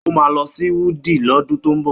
Ó máa lọ sí Wudil lọ́dún tó ń bọ̀.